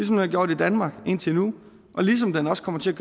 den har gjort i danmark indtil nu ligesom den også kommer til